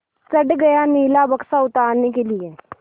चढ़ गया नीला बक्सा उतारने के लिए